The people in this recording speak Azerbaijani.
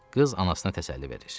Qız anasına təsəlli verir.